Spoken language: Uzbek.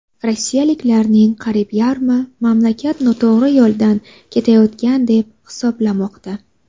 Rossiyaliklarning qariyb yarmi mamlakat noto‘g‘ri yo‘ldan ketayotgan deb hisoblamoqda.